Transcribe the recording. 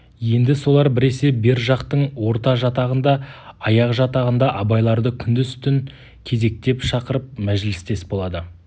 енді солар біресе бер жақтың орта жатағында аяқ жатағында абайларды күндіз-түн кезектеп шақырып мәжілістес болады